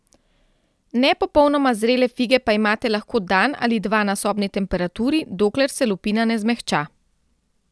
Ne popolnoma zrele fige pa imate lahko dan ali dva na sobni temperaturi, dokler se lupina ne zmehča.